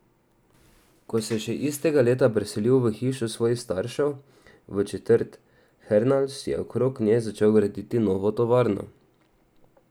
Ko se je še istega leta preselil v hišo svojih staršev v četrt Hernals, je okrog nje začel graditi novo tovarno.